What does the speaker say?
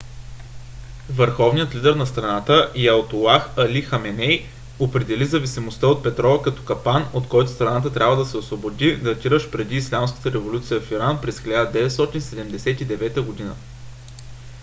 върховният лидер на страната аятолах али хаменей определи зависимостта от петрола като капан от който страната трябва да се освободи датиращ преди ислямската революция в иран през 1979 г